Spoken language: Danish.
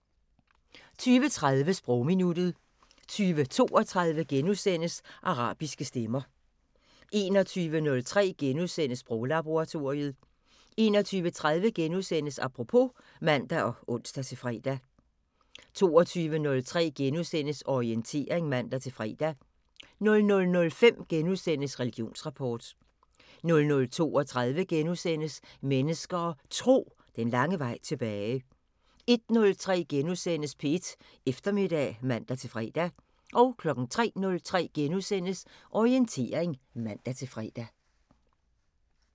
20:30: Sprogminuttet 20:32: Arabiske stemmer * 21:03: Sproglaboratoriet * 21:30: Apropos *(man og ons-fre) 22:03: Orientering *(man-fre) 00:05: Religionsrapport * 00:32: Mennesker og Tro: Den lange vej tilbage * 01:03: P1 Eftermiddag *(man-fre) 03:03: Orientering *(man-fre)